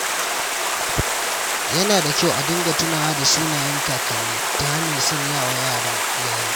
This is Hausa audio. Yana da kyau a dinga tunawa da sunayen kakanni ta hanyar sanyawa yaran iyali.